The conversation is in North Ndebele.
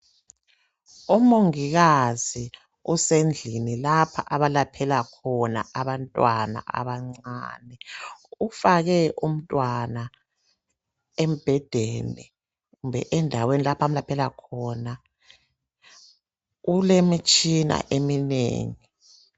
Omongikazi usendlini lapha abalaphela khona abantwana abancane ufake umntwana embhedeni kumbe endaweni lapho amlaphela khona ulemitshina eminengi.